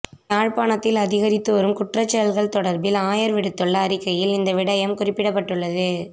யாழ்ப்பாணத்தில் அதிகரித்துவரும் குற்றச்செயல்கள் தொடர்பில் ஆயர் விடுத்துள்ள அறிக்கையில் இந்த விடயம் குறிப்பிடப்பட்டுள்ளது